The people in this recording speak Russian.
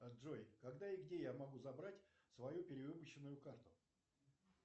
джой когда и где я могу забрать свою перевыпущенную карту